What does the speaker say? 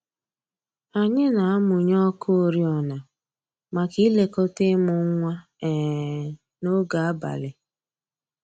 Anyị na-amụnye ọkụ oriọna maka ilekọta ịmụ nwa um n'oge abalị